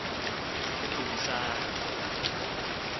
udumisani